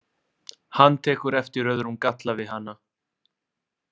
Hann tekur eftir öðrum galla við hana.